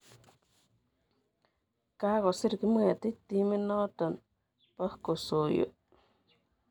Kakosir Kipngetich timit notok po Kosoiyo.